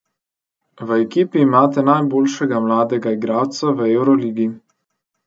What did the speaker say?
V ekipi imate najboljšega mladega igralca v evroligi.